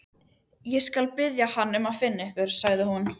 Ég skal biðja hann að finna ykkur, sagði hún.